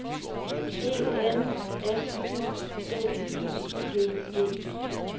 E N S I D I G E